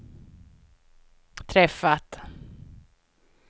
träffat